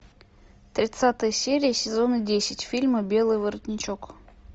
тридцатая серия сезона десять фильма белый воротничок